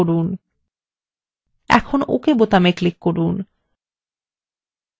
এখন ok button click করুন